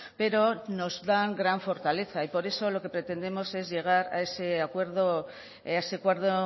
pero nos dan gran fortaleza y por eso lo que pretendemos es llegar a ese acuerdo a ese acuerdo